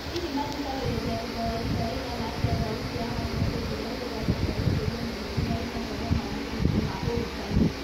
Hihi mathikagĩrĩria thutha wa ihinda rĩigana atĩa thauti ya macokio ĩkĩrehe irathi cia gũkũria ũmenyeru harĩ mathomo ma mũthingi ma ũrutani ?